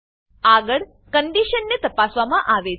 આગળ કન્ડીશન ને તપાસવામાં આવે છે